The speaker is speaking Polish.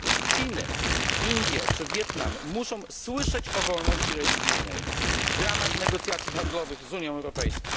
Chiny, Indie czy Wietnam muszą słyszeć o wolności religijnej w ramach negocjacji handlowych z Unią Europejską.